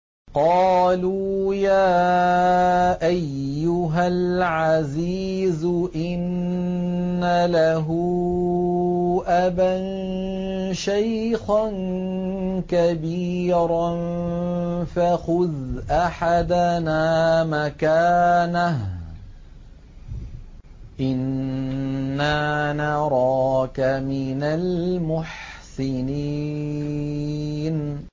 قَالُوا يَا أَيُّهَا الْعَزِيزُ إِنَّ لَهُ أَبًا شَيْخًا كَبِيرًا فَخُذْ أَحَدَنَا مَكَانَهُ ۖ إِنَّا نَرَاكَ مِنَ الْمُحْسِنِينَ